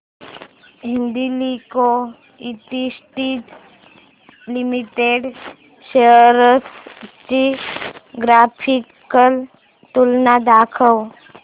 Hindalco industries limited shares ची graphical तुलना दाखव